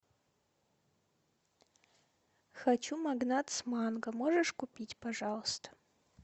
хочу магнат с манго можешь купить пожалуйста